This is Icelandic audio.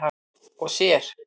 og sér.